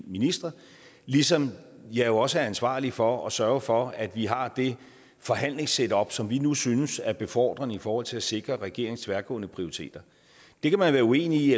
ministre ligesom jeg jo også er ansvarlig for at sørge for at vi har det forhandlingssetup som vi nu synes er befordrende i forhold til at sikre regeringens tværgående prioriteter det kan man være uenig